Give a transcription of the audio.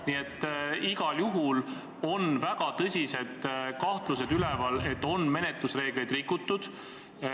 Nii et igal juhul on üleval väga tõsised kahtlused, et menetlusreegleid on rikutud.